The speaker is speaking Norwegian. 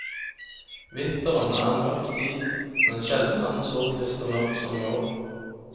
Vinteren er en mørk tid, men sjelden er den så trist og mørk som i år.